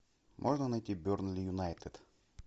можно найти бернли юнайтед